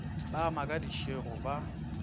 ba oma ka disego ba